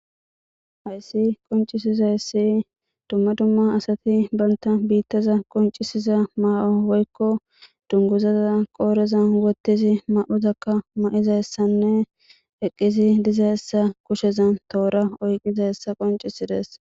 Haysi qoncisizaysi duma duma asati banta bittaza qoncisiza mayo woykon dunguza mayoza qodheza wothidi mayozakka mayizaysanne eqidi dizaysa kushezan tora oykidayisa